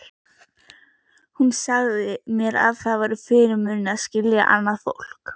Hún sagði að mér væri fyrirmunað að skilja annað fólk.